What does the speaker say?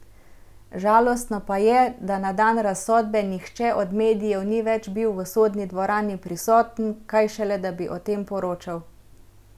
Žalostno pa je, da na dan razsodbe nihče od medijev ni več bil v sodni dvorani prisoten, kaj šele da bi o tem poročal ...